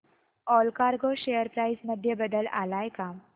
Allcargo share price मध्ये बदल आलाय का